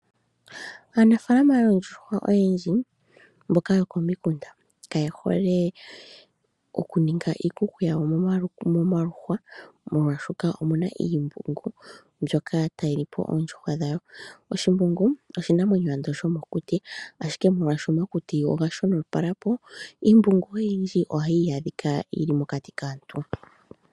Aanafalama oondjuhwa oyendji mboka yo komikunda, kaye hole okuninga iikuku yawo momaluhwa molwashoka omuna iimbungu mbyoka tayi lipo oondjuhwa dhawo. Oshimbungu oshinamwenyo ando sho mokuti, ashike molwashoka omakuti oga shonopalapo iimbungo oyindji ohai adhika mokati kaantu.